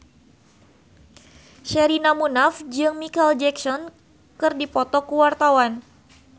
Sherina Munaf jeung Micheal Jackson keur dipoto ku wartawan